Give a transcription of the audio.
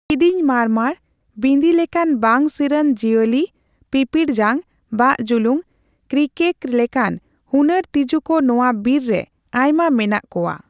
ᱠᱤᱫᱤᱧ ᱢᱟᱨᱢᱟᱨ, ᱵᱤᱸᱫᱤ ᱞᱮᱠᱟᱱ ᱵᱟᱝ ᱥᱤᱨ ᱟᱱ ᱡᱤᱣᱭᱟᱞᱤ, ᱯᱤᱯᱤᱲ ᱡᱟᱝ, ᱵᱟᱠ ᱡᱩᱞᱩᱝ, ᱠᱨᱤᱠᱮᱠ ᱞᱮᱠᱟᱱ ᱦᱩᱱᱟᱹᱨ ᱛᱤᱡᱩ ᱠᱚ ᱱᱚᱣᱟ ᱵᱤᱨ ᱟᱭᱢᱟ ᱢᱮᱱᱟᱜᱼᱟ ᱠᱳᱣᱟ ᱾